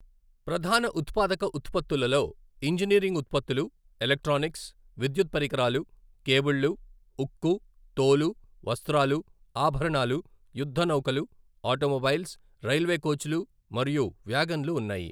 ప్రధాన ఉత్పాదక ఉత్పత్తులలో ఇంజనీరింగ్ ఉత్పత్తులు, ఎలక్ట్రానిక్స్, విద్యుత్ పరికరాలు, కేబుళ్లు, ఉక్కు, తోలు, వస్త్రాలు, ఆభరణాలు, యుద్ధనౌకలు, ఆటోమొబైల్స్, రైల్వే కోచ్లు మరియు వ్యాగన్లు ఉన్నాయి.